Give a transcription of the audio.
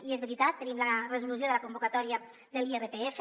i és veritat tenim la resolució de la convocatòria de l’irpf